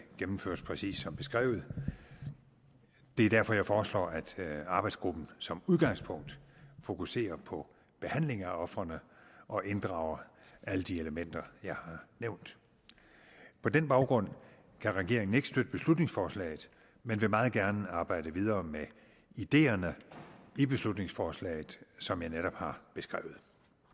gennemføres præcist som beskrevet det er derfor jeg foreslår at arbejdsgruppen som udgangspunkt fokuserer på behandling af ofrene og inddrager alle de elementer jeg har nævnt på den baggrund kan regeringen ikke støtte beslutningsforslaget men vil meget gerne arbejde videre med ideerne i beslutningsforslaget som jeg netop har beskrevet